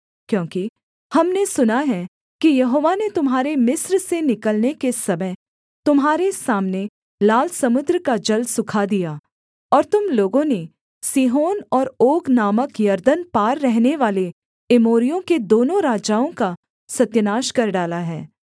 क्योंकि हमने सुना है कि यहोवा ने तुम्हारे मिस्र से निकलने के समय तुम्हारे सामने लाल समुद्र का जल सूखा दिया और तुम लोगों ने सीहोन और ओग नामक यरदन पार रहनेवाले एमोरियों के दोनों राजाओं का सत्यानाश कर डाला है